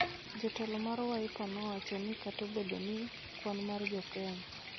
Jatelo mar Wiper nowacho ni kata obedo ni kwan mar jo Kenya .